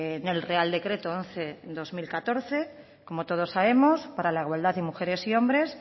en el real decreto once barra dos mil catorce para la igualdad de mujeres y hombres